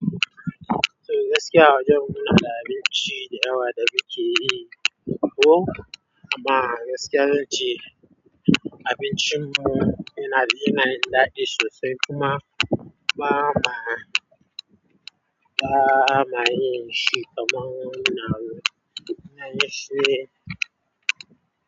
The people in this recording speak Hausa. To gaskiya a wajen mu munada abinci dayawa da muke yi, oh amma gaskiya na ce abincin mu yana, yana da daɗi sosai kuma ba ma, ba ma yin shi kaman su na yin shi.